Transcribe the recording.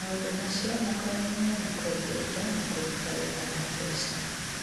Maũndũ macio makonainie na kwendia indo na kũruta wĩra na mbeca.